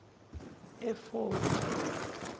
efodi